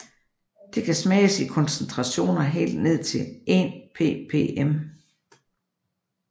Det kan smages i koncentrationer helt ned til 1 ppm